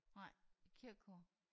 Nej kirkekor